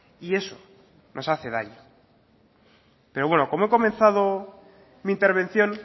y eso nos hace daño pero bueno como he comenzado mi intervención